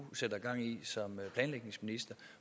rige